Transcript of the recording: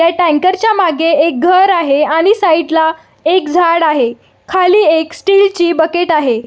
ह्या टंकेर च्या मागे एक घर आहे आणि साइड ला एक झाड आहे आणि खाली एक स्टील ची बकेट आहे.